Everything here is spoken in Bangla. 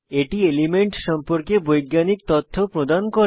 এটি এলিমেন্ট সম্পর্কে বৈজ্ঞানিক তথ্য প্রদান করে